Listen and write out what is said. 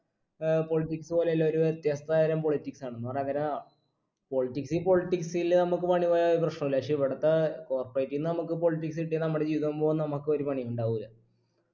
ഏർ politics പോലെയല്ല ഒരു വിത്യസ്ത തരം politics ആണ് എന്ന് പറയാൻ നേരം politics politics ൽ നമ്മക്ക് പണി പോയാ ഒരു പ്രശ്‌നു ഇല്ല പക്ഷേ ഇവിടത്തെ corperative നമുക്ക് politics കിട്ടിയ നമ്മുടെ ജീവിതം പോവും നമുക്കൊരു പണിയും ഉണ്ടാവൂല്ല